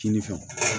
Kinin fɛ